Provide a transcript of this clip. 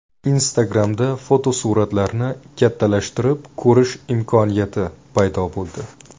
Instagram’da fotosuratlarni kattalashtirib ko‘rish imkoniyati paydo bo‘ldi.